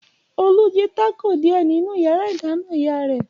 Olú jí tákò díẹ̀ nínú ìyàrá-ìdáná ìyá rẹ̀.